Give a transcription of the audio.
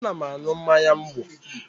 Ana m aṅụ mmanya ńgwọ